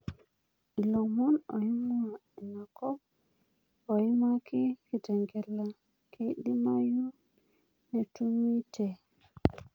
Ilomon loing'uaa aikop oimaki kitengela keidimayu netumi te.